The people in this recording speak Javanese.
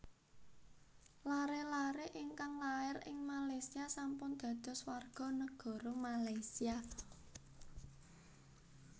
Lare lare ingkang lair ing Malaysia sampun dados warga negara Malaysia